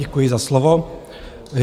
Děkuji za slovo.